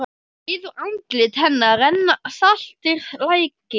Niður andlit hennar renna saltir lækir.